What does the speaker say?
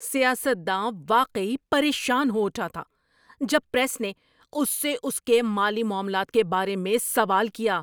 سیاست داں واقعی پریشان ہو اٹھا تھا جب پریس نے اس سے اس کے مالی معاملات کے بارے میں سوال کیا۔